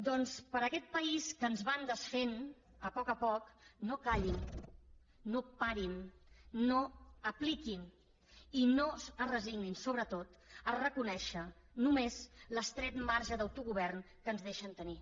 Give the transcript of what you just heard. doncs per a aquest país que ens van desfent a poc a poc no callin no parin no apliquin i no es resignin sobretot a reconèixer només l’estret marge d’autogovern que ens deixen tenir